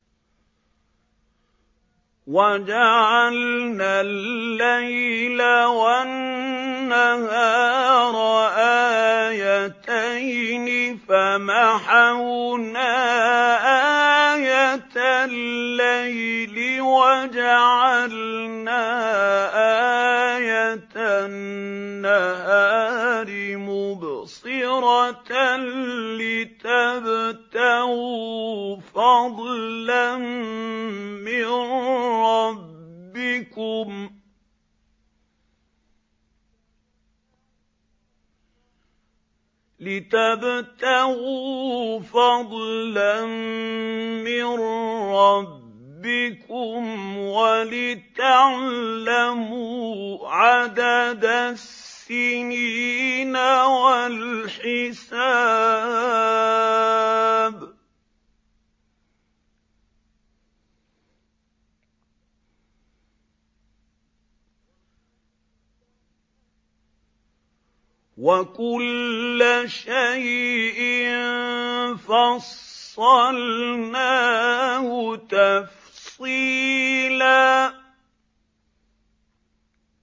وَجَعَلْنَا اللَّيْلَ وَالنَّهَارَ آيَتَيْنِ ۖ فَمَحَوْنَا آيَةَ اللَّيْلِ وَجَعَلْنَا آيَةَ النَّهَارِ مُبْصِرَةً لِّتَبْتَغُوا فَضْلًا مِّن رَّبِّكُمْ وَلِتَعْلَمُوا عَدَدَ السِّنِينَ وَالْحِسَابَ ۚ وَكُلَّ شَيْءٍ فَصَّلْنَاهُ تَفْصِيلًا